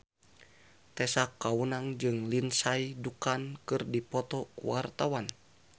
Tessa Kaunang jeung Lindsay Ducan keur dipoto ku wartawan